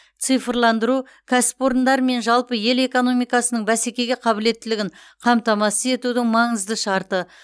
цифрландыру кәсіпорындар мен жалпы ел экономикасының бәсекеге қабілеттілігін қамтамасыз етудің маңызды шарты